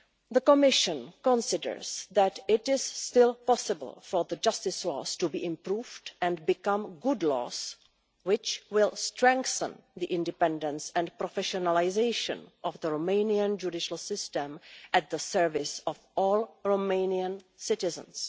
The Commission considers that it is still possible for the justice laws to be improved and become good laws which will strengthen the independence and professionalisation of the Romanian judicial system to serve all Romanian citizens.